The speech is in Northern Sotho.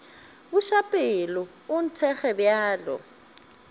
buša pelo o nthekge bjalo